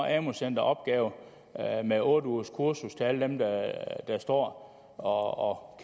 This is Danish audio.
amu centrene opgaven med otte ugers kursus til alle dem der står og